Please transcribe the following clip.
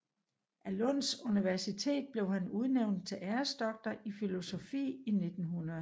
Af Lunds Universitet blev han udnævnt til æresdoktor i filosofi i 1900